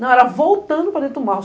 Não, era voltando para dentro do mato.